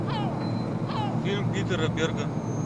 фильм питера берга